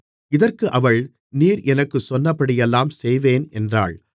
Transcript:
இதற்கு அவள் நீர் எனக்குச் சொன்னபடியெல்லாம் செய்வேன் என்றாள்